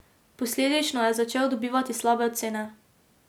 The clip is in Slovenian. Posledično je začel dobivati slabe ocene.